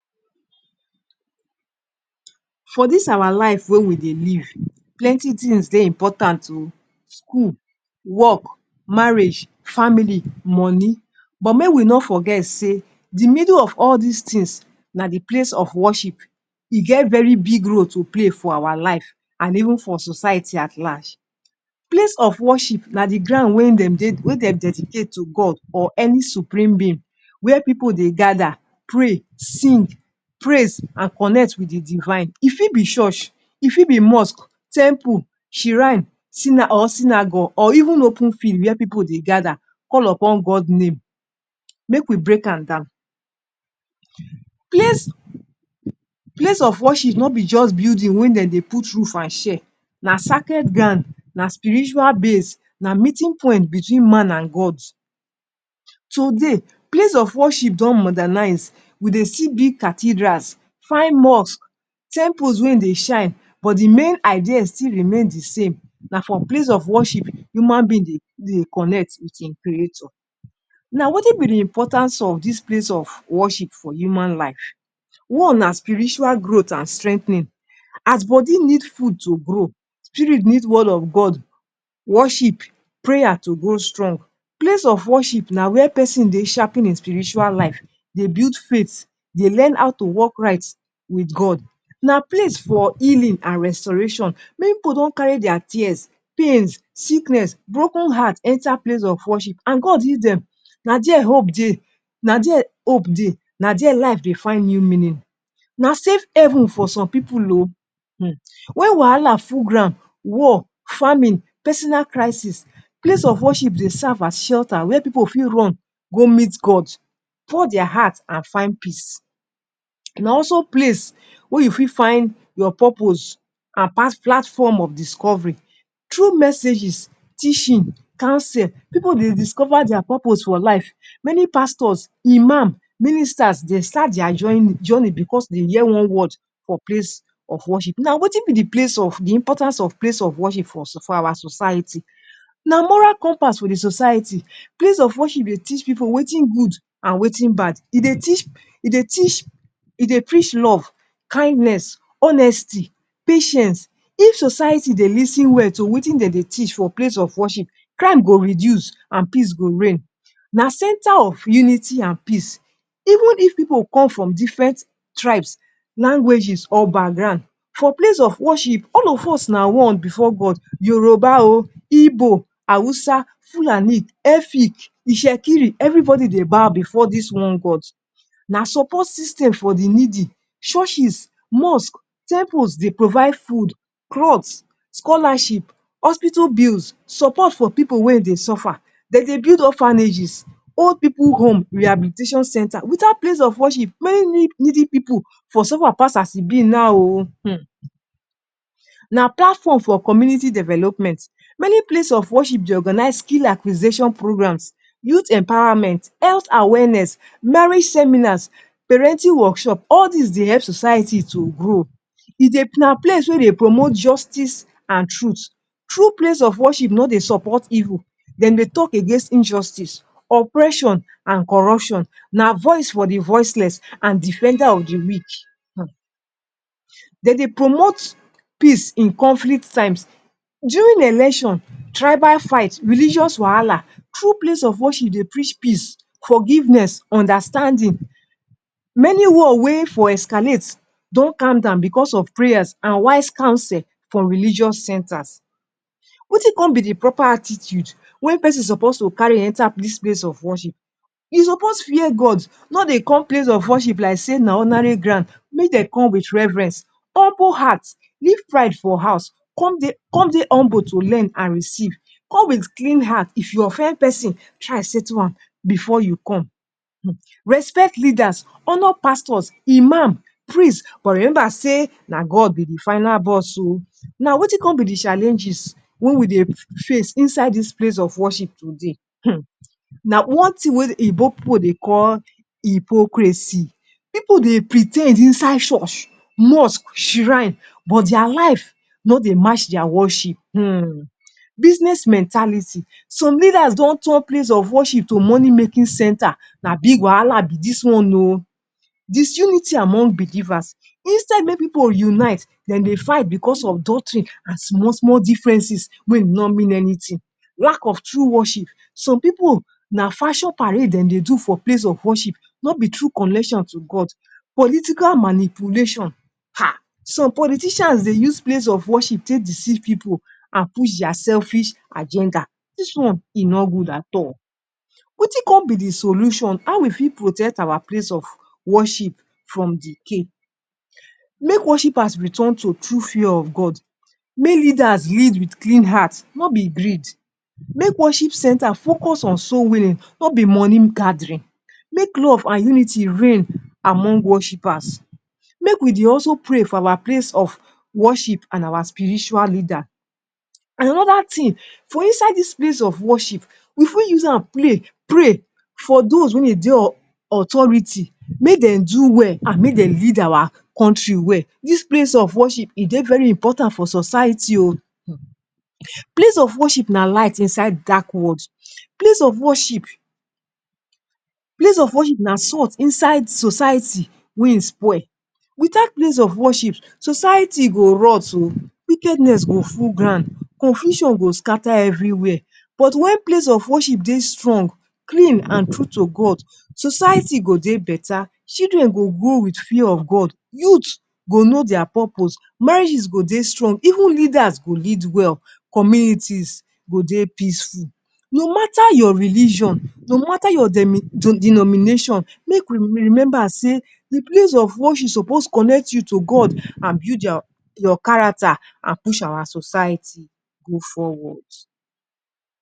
For dis our life wey we den live, plenty tins, dey important oo. School, work, marriage, family, money, but make we no forget say di middle of all dis tins na di place of worship e get very big role to play for our life and even for society at large. Place of worship na di ground wen dem dey dedicate to God or any supreme being, wia pipu dey gada, pray, sing, praise, and connect wit di divine. E fit be church, e fit be mosque, temple, shrine, or synagogue, or even open field wia pipu dey gada call upon God name. Make we break am down. Place of worship no be just building wen dem dey put roof and shade. Na sacred ground, na spiritual base. Na meeting point between man and God. Today, place of worship don modernize. We dey see big cathedrals, fine mosque, temples, wen dey shine, but di main idea still remain di same. Na for place of worship, human being dey connect wit im creator. Na wetin be di importance of dis place of worship for human life? One, na spiritual growth and strengthening. As body need food to grow, spirit need Word of God, worship, prayer to grow strong. Place of worship, na wia pesin dey sharpen in spiritual life dey build faith. They learn how to wok right wit God. Na place for healing and restoration. Many pipu don carry dia tears, pains, sickness, broken heart, enta place of worship, and God heal dem, Na there hope dey. Na there hope dey. Na there life dey find new meaning. Na safe haven for some pipu o. Wen wahala full ground, war, famine, pesinal crisis, place of worship, dey serve as shelter wia pipu fit run go meet God, pour dia hearts and find peace, na also place wia you fit find your purpose, and past platform of discovery. Through messages, teaching, counsel. People, dey discover dia purpose for life. Many pastors, imam, ministers, dey start dia journey bicos dey hear one word for place of worship. Na, wetin be di importance of place of worship for our society? Na moral compass for di society. Place of worship dey teach pipu wetin good and wetin bad. E dey teach, e dey teach, e dey preach love, kindness, honesty, patience. If society, dey lis ten well to wetin dey dey teach for place of worship, crime go reduce and peace go reign. Na center of unity and peace. Even if pipu come from diffren tribes, languages or background, for place of worship, all of us na one bifor God. Yoruba o, or Igbo, Hausa, Fulani, Efik, Itsekiri, evri body dey bow bifor dis one God. Na support system for di needy. Churches, mosque, temples, dey provide food, cloths, scholarship, hospital bills, support for pipu wen dey suffer. Dey dey build orphanages, old pipu home, rehabilitation center. Wit out place of worship, many needy pipu for suffer pass as e bi na ooh. Hmm. Na platform for community development. Many place of worship, dey organize skill acquisition programs, youth empowerment, health awareness, marriage seminars, parenting workshop. All dis, dey help society to grow. Na place where dey dey promote justice and truth. True place of worship no dey support evil. Dem dey talk against injustice, oppression and corruption. Na voice for di voiceless and defender of di weak. Hmm. Dem dey promote peace in conflict times. During election, tribal fights, religious wahala, true place of worship, dey preach peace, forgiveness, understanding. Many war wey for escalate do calm down bicos of prayers and wise counsel from religious centers. Wetin come be di proper attitude wey pesin supposed to carry enter dis place of worship? E supposed to fear God, not dey come place of worship like say na ordinary ground. Mey dey come wit reverence, humble heart. Leave pride for house. Come dey, come dey humble to learn and receive. Come wit clean heart. If you offend pesin, try settle am bifor you come. Respect leaders, honor pastors, imam, priest. But remember, say na, God be di final boss oh. Na wetin come be di challenges wen we dey face inside dis place of worship today? Hmm! Na one tin wey oyinbo pipu dey call hypocrisy. People dey pre ten d inside church, mosque, shrine, but dia life no dey match dia worship. Hmm. Business mentality. Some leaders don turn place of worship to money-making center. Na big wahala be dis one ooo. Disunity among believers. Instead make pipu unite, den dey fight bicos of doctrine and small, small differences wey no mean anytin. Lack of true worship. Some pipu na fashion parade dem dey do for place of worship, no be true connection to God. Political manipulation. Ha! Some politicians, dey use place of worship, take deceive pipu and push dia selfish agenda. Dis one, e no good at all. Wetin come be di solution? How we fit protect our place of worship from decay? Make worshippers return to true fear of God. Mey leaders lead wit clean hearts, no bi greed. Make worship center focus on soul-winning, no be money-gathering. Make love and unity reign among worshipers. Make we dey also pray for our place of worship and our spiritual leader. And anoda tin, for inside dis place of worship, we fit use am play, pray for those wen dey authority, make dey do well and make dey lead our kontri well. Dis place of worship e dey very important for society oh. Place of worship na light inside dark world. Place of worship, na salt inside society wen it's spoiled. Wit out place of worship, society go rot oh. Wickedness go full ground. Confusion go scatter evri wia. But wen place of worship dey strong, clean and true to God, society go dey betta. Children go grow wit fear of God. Youths go know dia purpose. Marriages go dey strong. Even leaders go lead well. Communities go dey peaceful. No matter your religion, no matter your denomination, make we remember, say di place of worship supposed to connect you to God and build your character and push our society go forwards.